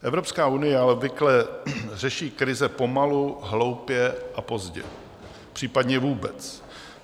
Evropská unie ale obvykle řeší krize pomalu, hloupě a pozdě, případně vůbec.